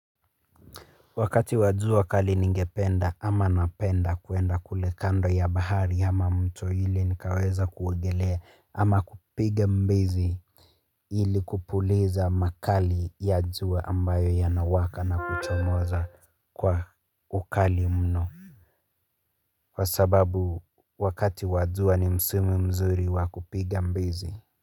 Wakati wa jua kali ningependa ama napenda kuenda kule kando ya bahari ama mto ili nikaweza kuogelea ama kupiga mbizi ili kupuliza makali ya jua ambayo yanawaka na kuchomoza kwa ukali mno kwa sababu wakati wa jua ni msimu mzuri wa kupiga mbizi.